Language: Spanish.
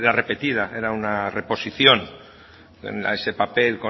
repetida era una reposición en ese papel